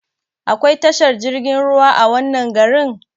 Akwai tashar jirgin ruwa a wannan garin?